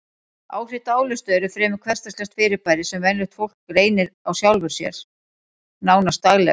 Áhrif dáleiðslu eru fremur hversdagslegt fyrirbæri sem venjulegt fólk reynir á sjálfu sér, nánast daglega.